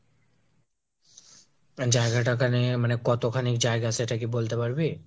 জায়গা ঠাগা নিয়ে মানে কতখানি জায়গা সেটা কি বলতে পারবি ?